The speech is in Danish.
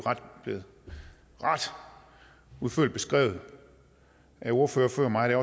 blevet ret udførligt beskrevet af ordførere før mig og